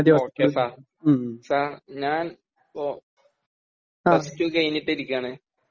ഓ K sir sir ഞാൻ ഇപ്പോ plus two കഴിഞ്ഞിട്ട് ഇരിക്കയാണ്